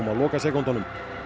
lokasekúndunum